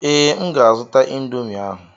Ee, M ga-azụta ịndomii ahụ.